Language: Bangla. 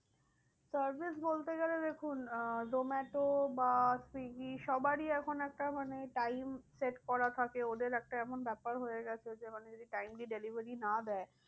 Service বলতে গেলে দেখুন আহ জোমাটো বা সুইগী সবারই এখন একটা মানে time set করা থাকে। ওদের একটা এমন ব্যাপার হয়ে গেছে যে মানে যদি time এ delivery না দেয়